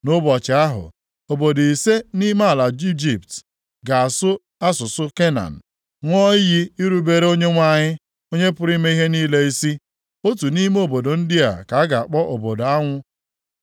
Nʼụbọchị ahụ, obodo ise nʼime ala Ijipt ga-asụ asụsụ Kenan, ṅụọ iyi irubere Onyenwe anyị, Onye pụrụ ime ihe niile isi. Otu nʼime obodo ndị a ka a ga-akpọ Obodo anwụ.